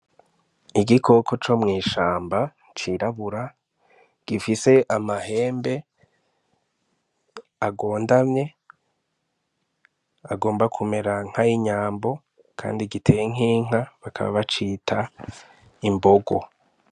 Igikoko co mw'ishamba cirabura gifise amahembe agondamye agomba kumera nkay inyambo, kandi giteye nkinka bakaba bacita imbogo.